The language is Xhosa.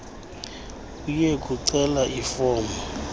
uye kucela ifomu